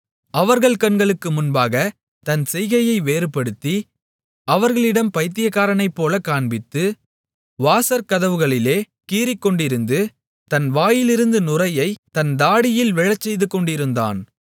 அவர்கள் கண்களுக்கு முன்பாகத் தன் செய்கையை வேறுபடுத்தி அவர்களிடம் பைத்தியக்காரனைப் போலக் காண்பித்து வாசற்கதவுகளிலே கீறிக்கொண்டிருந்து தன் வாயிலிருந்து நுரையைத் தன் தாடியில் விழசெய்துக்கொண்டிருந்தான்